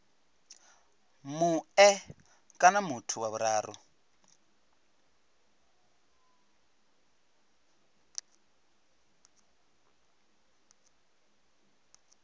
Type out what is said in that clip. mue kana muthu wa vhuraru